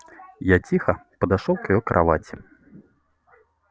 я тихо подошёл к её кровати